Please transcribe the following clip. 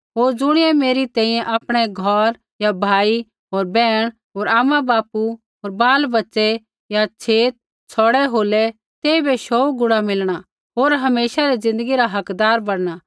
होर ज़ुणियै मेरी तैंईंयैं आपणै घौर या भाई होर बैहण होर आमाबापू होर बालबच्चे या छेत छ़ौड़ै होलै तेइबै शौऊ गुणा मिलणा होर हमेशा री ज़िन्दगी रा हकदार बणना